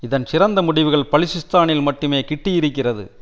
இதன் சிறந்த முடிவுகள் பலிசிஸ்தானில் மட்டுமே கிட்டியிருக்கிறது